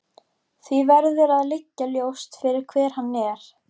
Því verður að liggja ljóst fyrir hver hann er.